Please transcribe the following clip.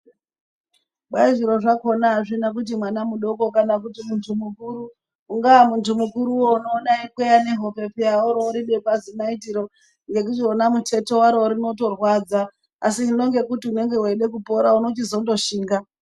Kwai zviro zvakona azvina kuti mwana mudoko kana kuti muntu mukuru ungaa muntu mukuruwo uno ona eyi kweya ne hope peya wori wori bekwa zi naiti ro nekuti wona muteti waro rinoto rwadza asi hino ngekuti unenge weide kupora unochi zondo shinga.